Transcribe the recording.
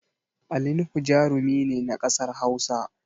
Ali nuhu jarumi ne na ƙasar Hausa